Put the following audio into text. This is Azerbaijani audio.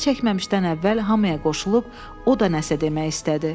Başına çəkməmişdən əvvəl hamıya qoşulub, o da nəsə demək istədi.